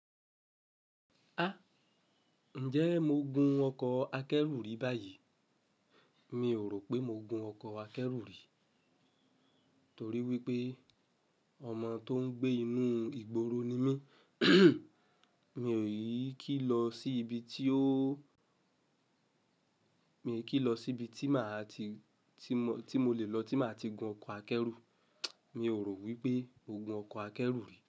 Ha! Ǹjẹ́ mo gun ọkọ̀ akẹ́rù rí báyìí? Mi ò rò pé mo gun ọkọ̀ akẹ́rù rí torí wípé ọmọ tó ń gbé inú ìgboro ni mí. Mi ò yí kí lọ sí ibi tí óóó Mi i kí lọ sí ibi tí màá ti, tí mọ, tí mo lè lọ tí màá ti gun ọkọ̀ akẹ́rù. Mi ò rò wípé mo gun ọkọ̀ akẹ́rù rí.